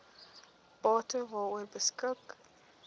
bate waaroor beskik